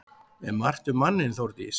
Er margt um manninn Þórdís?